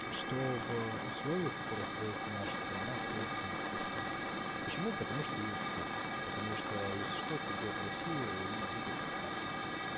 что в условиях которых находится наша страна в принципе недопустимо почему потому что есть вы потому что если что придёт россия и будет хапавать